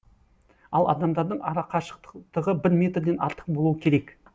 ал адамдардың арақашықтығы бір метрден артық болу керек